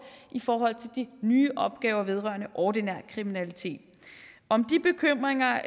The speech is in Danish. i forhold til de nye opgaver vedrørende ordinær kriminalitet om de bekymringer